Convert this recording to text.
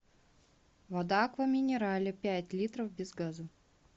вода аква минерале пять литров без газа